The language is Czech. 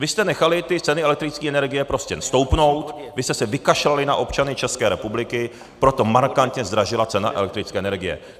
Vy jste nechali ty ceny elektrické energie prostě stoupnout, vy jste se vykašlali na občany České republiky, proto markantně zdražila cena elektrické energie.